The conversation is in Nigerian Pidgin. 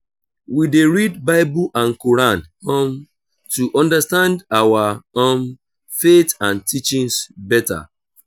we dey read bible and quran um to understand our um faith and teachings beta.